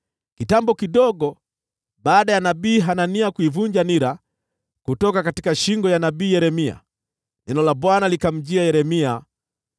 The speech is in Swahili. Kitambo kidogo baada ya nabii Hanania kuivunja nira kutoka shingo ya nabii Yeremia, neno la Bwana likamjia Yeremia: